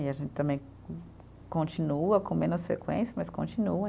E a gente também, continua com menos frequência, mas continua.